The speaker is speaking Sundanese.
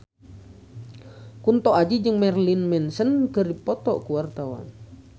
Kunto Aji jeung Marilyn Manson keur dipoto ku wartawan